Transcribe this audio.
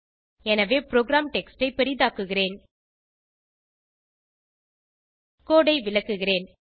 எனவே program text ஐ பெரிதாக்குகிறேன் கோடு ஐ விளக்குகிறேன்